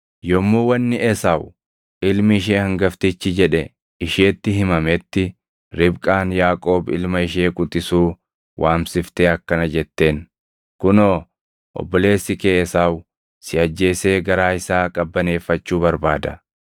Yommuu wanni Esaawu ilmi ishee hangaftichi jedhe isheetti himametti Ribqaan Yaaqoob ilma ishee quxisuu waamsiftee akkana jetteen; “Kunoo, obboleessi kee Esaawu si ajjeesee garaa isaa qabbaneeffachuu barbaada.